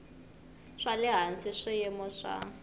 swa le hansi swiyimo swa